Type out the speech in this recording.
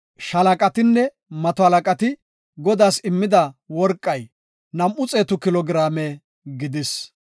Shaalaqatinne mato halaqati Godaas immida worqay nam7u xeetu kilo giraame gidis.